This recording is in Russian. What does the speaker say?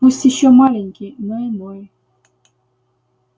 пусть ещё маленький но иной